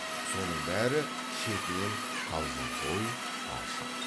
соның бәрі шетінен қалжыңқой ашық